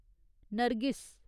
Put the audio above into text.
Nargis